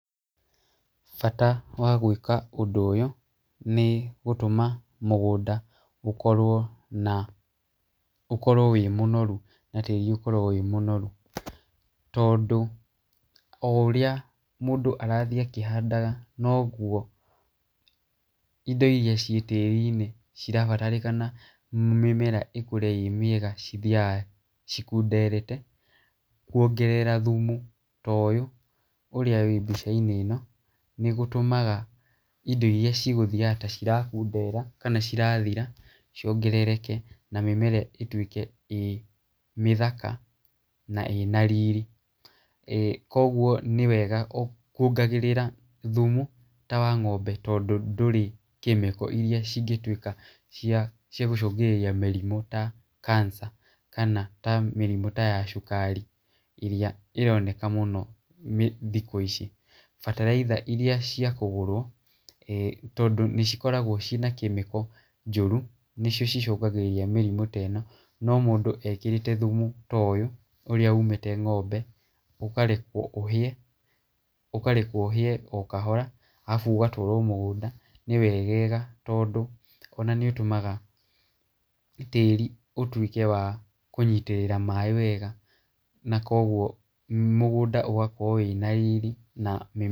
Bata wa gwĩka ũndũ ũyũ nĩ gũtũma mũgũnda ũkorwo na wĩ mũnoru na tĩri ũkorwo wĩ mũnoru. Tondũ o ũrĩa mũndũ arathiĩ akĩhandaga noguo indo iria ciĩ tĩrinĩ cirabatarĩkana mĩmera ĩkũre ĩmĩega cithiyaga cikũnderete. Kuongerera thumu ta ũyũ ũrĩa wĩ mbica-inĩ ĩno nĩgũtũmaga indo iria cigũthiyaga ta irakundera kana cirathira ciongerereke na mĩmera ĩtuĩke ĩ mĩthaka na ĩna riri. Koguo nĩ wega kũongagĩrĩra thumu ta wa ng'ombe, tondũ ndũrĩ kemiko iria cingĩtuĩka cia gũcũngĩrĩria mĩrimu ta kanica kana ta mĩrimũ ya cukari ĩrĩa ĩroneka mũno thikũ ici. Bataraitha irĩa cia kũgũrwo, tondũ nĩcikoragwo ciĩ na kemiko njoru nĩcio cicũngagĩrĩria mĩrimũ ta ĩno, no mũndũ ekĩrĩte thumu ta ũyũ ũrĩa ũmĩte ng'ombe, ũkarekwo ũhĩe o kahora, arabu ũgatwarwo mũgũnda nĩ wegega, tondũ ona nĩũtũmaga tĩri ũtuĩke wa kũnyitĩrĩra maaĩ wega, na koguo mũgũnda ũgakorwo wĩna riri.